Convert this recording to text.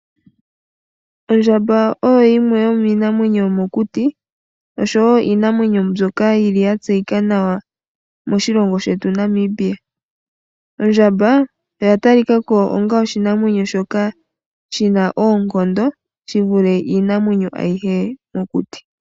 Ondjamba oyo yimwe yomiinamwenyo yomokuti osho wo iinamwenyo mbyoka yi li ya tseyika nawa moshilongo shetu Namibia. Ondjamba oya talika ko onga oshinamwenyo shoka shi na oonkondo shi vule iinamwenyo ayihe mokuti.